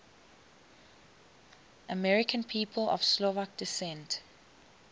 american people of slovak descent